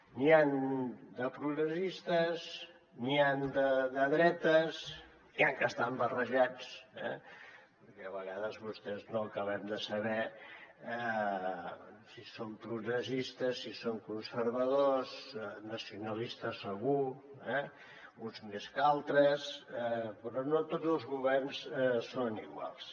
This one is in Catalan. n’hi han de progressistes n’hi han de dretes n’hi han que estan barrejats eh perquè a vegades vostès no acabem de saber si són progressistes si són conservadors nacionalistes segur eh uns més que altres però no tots els governs són iguals